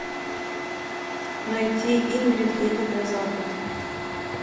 найти ингрид едет на запад